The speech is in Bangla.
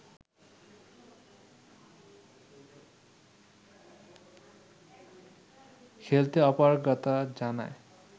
খেলতে অপারগতা জানায়